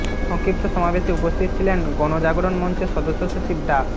সংক্ষিপ্ত সমাবেশে উপস্থিত ছিলেন গণজাগরণ মঞ্চের সদস্য সচিব ডা